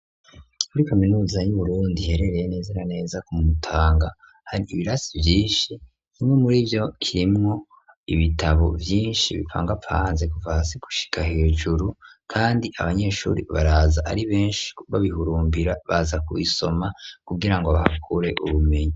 Kuri kaminuza y'uburundi iherereye neza na neza ku mutanga hari ibirasi vyinshi ,bimwe muri vyo harimwo ibitabo vyinshi bipangapanze kuva hasi gushika hejuru kandi abanyeshuri baraza ari benshi babihurumbira baza ku bisoma kugira ngo bahakure ubumenyi.